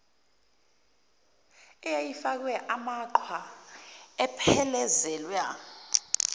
eyayifakwe amaqhwa iphelezelwa